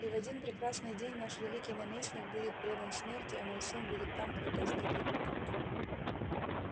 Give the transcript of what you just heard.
и в один прекрасный день наш великий наместник будет предан смерти а мой сын будет там кто казнит его